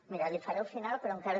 miri li faré al final però encara